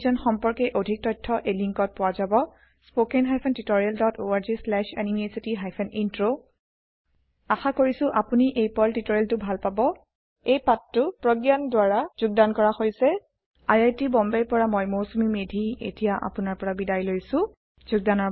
এই অভিযান সম্পৰ্কে অধিক তথ্য এই লিংকত পোৱা যাব spoken hyphen tutorial dot org slash NMEICT hyphen intro আশা কৰিছো আপুনি এই পাৰ্ল টিউটৰিয়েলটো ভাল পাব এই পাঠটো প্ৰগয়ান দ্ৱাৰা যোগদান কৰা হৈছে অাই আই টি বম্বেৰ পৰা মই মৌচুমী মেধী বিদায় লৈছো যোগদানৰ বাবে ধনয়বাদ